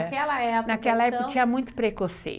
Naquela época, então... Naquela época tinha muito preconceito.